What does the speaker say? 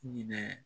Ɲinɛ